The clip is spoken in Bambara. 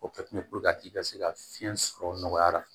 O kɛ kun ye k'i ka se ka fiɲɛ sɔrɔ nɔgɔya la